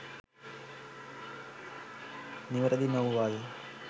නිවැරදි නොවුවද